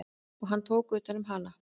Og hann tók utan um hana.